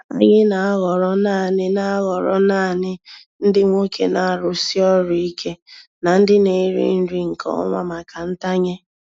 Anyị na-ahọrọ naanị na-ahọrọ naanị ndị nwoke na-arụsi ọrụ ike na ndị na-eri nri nke ọma maka ntanye.